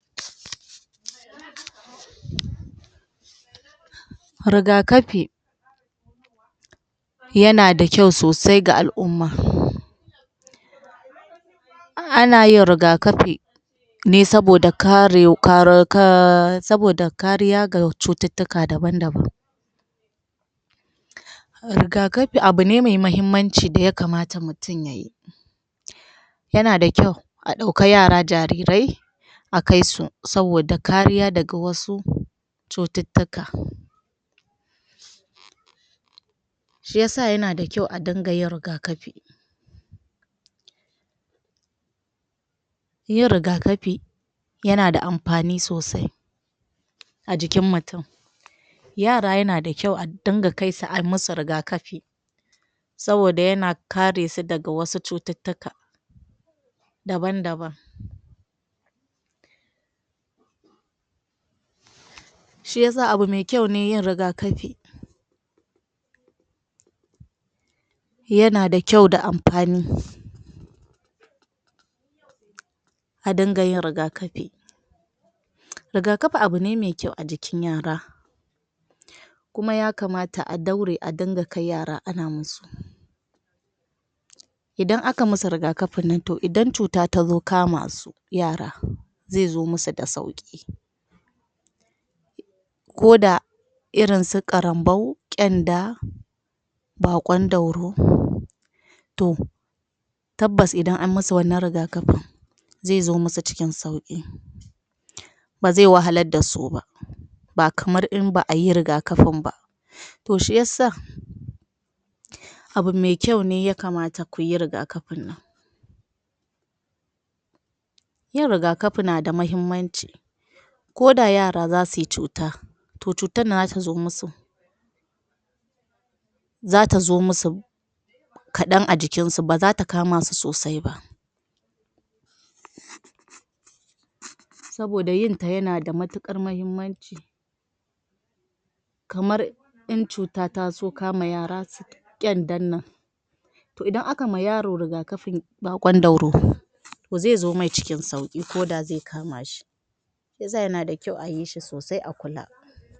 Rigakafi yanada kyau sosai ga al'umma anayin rigakafi ne saboda kare ka ro ka saboda kariya ga cututtuka daban-daban. Rigakafi abu ne mai mahimmanci daya kamata mutum yayi, yana da kyau a ɗauka yara jarirai akaisu saboda kariya daga wasu cututtuka. Shiyasa yanada kyau a danga yin rigakafi yin rigakafi yanada amfani sosai ajikin mutum yara yana da kyau a dinga kaisu ayi musu rigakafi saboda yana karesu daga wasu cututtuka daban-daban shiyasa abu me kyau ne yin rigakafi yana da kyau da amfani adinga yin riga kafi, rigakafi abu ne mai kyau ajikin yara kuma ya kamata a daure a danga kai yara ana musu. Odan aka musu rigakafin nan to idan cuta tazo kama su yara zezo musu da sauki ko da irinsu karanbau, kyanda, bakon dauro to tabbas idan an musu wannan rigakafin zezo musu cikin sauki baze wahalar dasu ba, ba kamar in ba'ayi rigakafin ba to shiyasa abu me kyau ne ya kamata kuyi rigakafin nan yin rigakafi nada mahimmanci koda yara zasuyi cuta to cutarnan zatazo musu zatazo musu kaɗan ajikinsu bazata kamasu sosai ba saboda yinta yanada matuƙar mahimmanci kamar in cuta tazo kama yara su ƙyandan nan to idan aka ma yaro rigakafin bakon dauro to zezo mai cikin sauki koda ze kamashi shiyasa yanada kyau ayi shi sosai a kula.